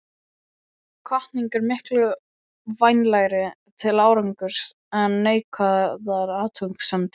Hvatning er miklu vænlegri til árangurs en neikvæðar athugasemdir.